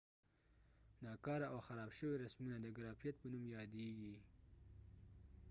ناکاره او خراب شوي رسمونه د ګرافیت په نوم یادېږي